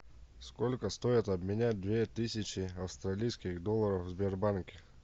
сколько стоит обменять две тысячи австралийских долларов в сбербанке